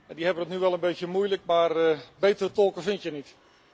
Die hebben het nu wel een beetje moeilijk, maar betere tolken vind je niet.